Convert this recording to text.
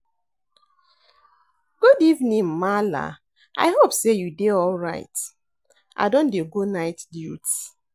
Good evening maala, I hope sey you dey alright. I don dey go night duty.